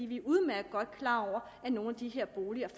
vi er udmærket godt klar over at nogle af de her boliger